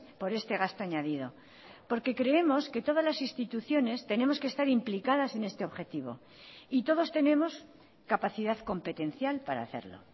por este gasto añadido porque creemos que todas las instituciones tenemos que estar implicadas en este objetivo y todos tenemos capacidad competencial para hacerlo